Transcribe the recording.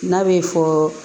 N'a bɛ fɔ